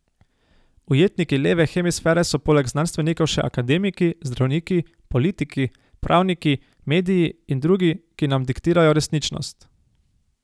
Ujetniki leve hemisfere so poleg znanstvenikov še akademiki, zdravniki, politiki, pravniki, mediji in drugi, ki nam diktirajo resničnost.